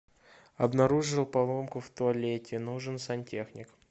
обнаружил поломку в туалете нужен сантехник